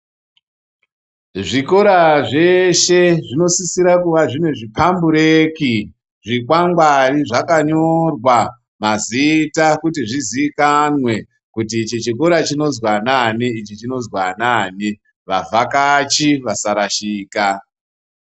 Zvikora zveshe zvinosisira kuva zvine zvipambureki-zvikwangwari zvakanyorwa mazita kuti zvizikanwe kuti ichi chikora chinozwi anani, ichi chinozwi anani, vavhakachi vasarashika.